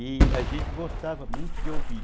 E a gente gostava muito de ouvir.